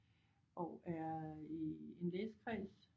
Og er i en læsekreds